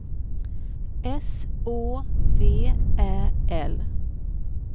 S Å V Ä L